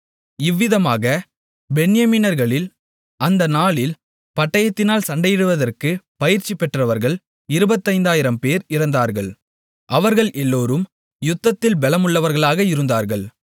இவ்விதமாக பென்யமீனர்களில் அந்த நாளில் பட்டயத்தினால் சண்டையிடுவதற்குப் பயிற்சிபெற்றவர்கள் இருபத்தைந்தாயிரம்பேர் இறந்தார்கள் அவர்கள் எல்லோரும் யுத்தத்தில் பெலமுள்ளவர்களாக இருந்தார்கள்